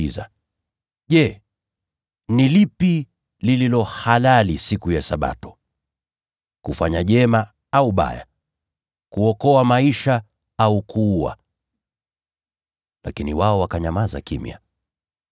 Kisha Yesu akawauliza, “Je, ni lipi lililo halali siku ya Sabato: Ni kutenda mema au kutenda mabaya? Ni kuokoa maisha au kuua?” Lakini wao wakanyamaza kimya.